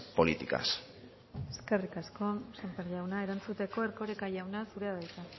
políticas eskerrik asko sémper jauna erantzuteko erkoreka jauna zurea da hitza